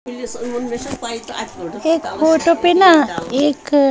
एक फोटो पे ना एक--